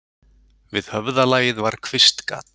Við höfðalagið var kvistgat.